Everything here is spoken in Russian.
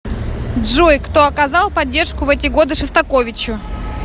джой кто оказал поддержку в эти годы шостаковичу